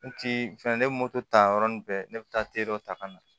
N ti fɛn ne moto ta yɔrɔ ni bɛɛ ne bɛ taa dɔ ta ka na